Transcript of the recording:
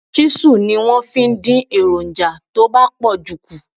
Ṣísù ni wọ́n fi ń dín èròǹjà tó bá pọ̀jù kù.